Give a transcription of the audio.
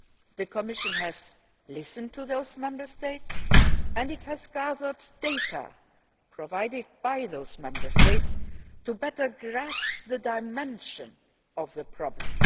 The Commission has listened to those Member States and it has gathered data provided by those Member States to better grasp the dimension of the problem.